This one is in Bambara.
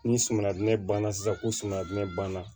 Ni suman banna sisan ko sumandɛ banna